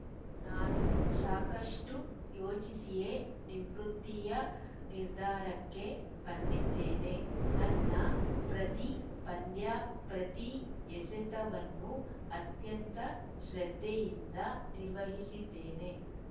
ನಾನು ಸಾಕಷ್ಟುಯೋಚಿಸಿಯೇ ನಿವೃತ್ತಿಯ ನಿರ್ಧಾರಕ್ಕೆ ಬಂದಿದ್ದೇನೆ ನನ್ನ ಪ್ರತಿ ಪಂದ್ಯ ಪ್ರತಿ ಎಸೆತವನ್ನು ಅತ್ಯಂತ ಶ್ರದ್ಧೆಯಿಂದ ನಿರ್ವಹಿಸಿದ್ದೇನೆ